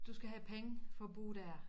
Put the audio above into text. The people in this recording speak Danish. Du skal have penge for at bo der